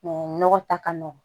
nɔgɔ ta ka nɔgɔn